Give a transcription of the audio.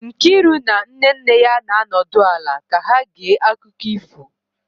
Nkiru na nne nne ya na-anọdụ ala ka ha gee akụkọ ifo